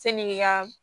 Sanni i ka